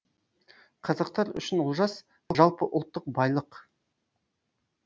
қазақтар үшін олжас жалпы ұлттық байлық